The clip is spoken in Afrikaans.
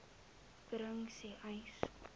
bring sê uys